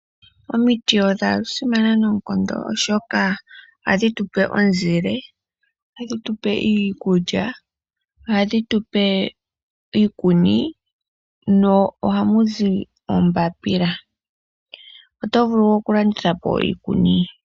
Omiti odha simana noonkondo oshoka ohadhi tupe omizile, ohadhi tupe iikulya, ohadhi tupe iikuni mo ohamu zi oombapila. Oto vulu wo okulandithapo iikuni.